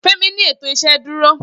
femi ni eto iṣeduro